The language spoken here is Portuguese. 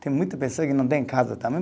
Tem muitas pessoas que não têm casa também.